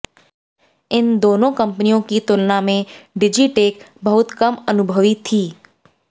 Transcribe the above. इन दोनों कंपनियों की तुलना में डिजिटेक बहुत कम अनुभवी थी